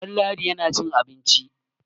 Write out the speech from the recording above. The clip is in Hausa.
Ɗanladi yana cin abinci.